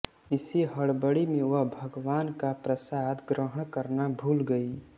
इसी हडबडी में वह भगवान का प्रसाद ग्रहण करना भूल गई